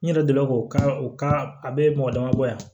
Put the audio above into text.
N yɛrɛ delila k'o ka u ka a be mɔgɔ damabɔ yan